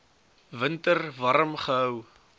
winter warm gehou